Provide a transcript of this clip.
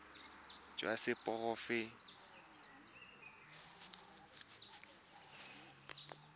jwa seporofe enale jwa banetshi